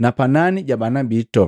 na panani ja bana bitu!”